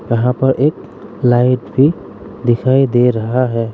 यहां पर एक लाइट भी दिखाई दे रहा है।